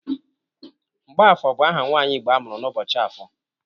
Mgbọafọ bụ aha nwaanyị Igbo amụrụ n'ụbọchị afọ.